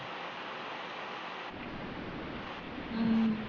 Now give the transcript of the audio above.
ਹਮ